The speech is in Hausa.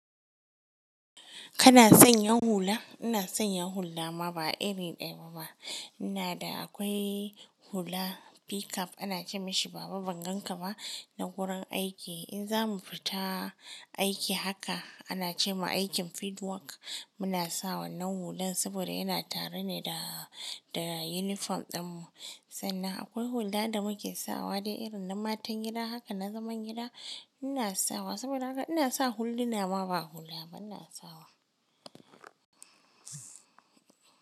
Kana son yin hula? Ina son yin hula ma ba iri daya ba. Ina da akwai hula pickup ana ce meshi baba ban gan ka ba na wurin aiki. In za mu fita aiki haka ana ce ma aikin bead work muna sawa nan hullan saboda yana tare ne da, da uniform din mu. Sannan akwai hula da muke sawa dai irin na matan gida. Haka na zaman gida ina sawa saboda haka ina sa hullu na ma ba hula ba ina sawa.